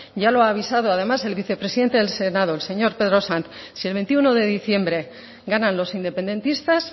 ya lo ha avisado además el vicepresidente del senado el señor pedro sanz si el veintiuno de diciembre ganan los independentistas